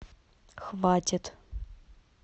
хватит